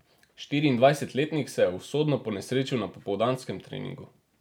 Štiriindvajsetletnik se je usodno ponesrečil na popoldanskem treningu.